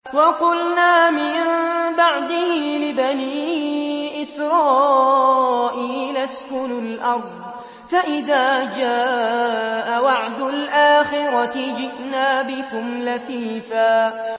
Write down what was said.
وَقُلْنَا مِن بَعْدِهِ لِبَنِي إِسْرَائِيلَ اسْكُنُوا الْأَرْضَ فَإِذَا جَاءَ وَعْدُ الْآخِرَةِ جِئْنَا بِكُمْ لَفِيفًا